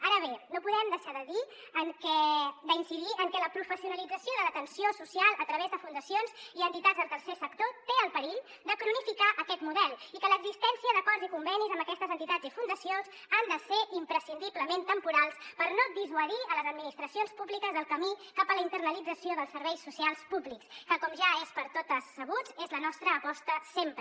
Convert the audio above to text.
ara bé no podem deixar d’incidir en que la professionalització de l’atenció social a través de fundacions i entitats del tercer sector té el perill de cronificar aquest model i que l’existència d’acords i convenis amb aquestes entitats i fundacions ha de ser imprescindiblement temporal per no dissuadir les administracions públiques del camí cap a la internalització dels serveis socials públics que com ja és per totes sabut és la nostra aposta sempre